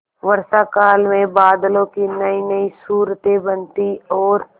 वर्षाकाल में बादलों की नयीनयी सूरतें बनती और